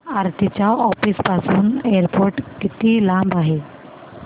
आरती च्या ऑफिस पासून एअरपोर्ट किती लांब आहे